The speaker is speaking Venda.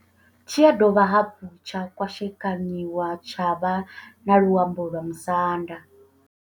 Tshi ya dovha hafhu tsha kwashekanyiwa tsha vha na luambo lwa Musanda.